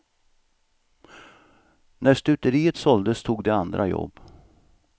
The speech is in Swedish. När stuteriet såldes tog de andra jobb.